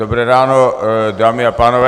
Dobré ráno, dámy a pánové.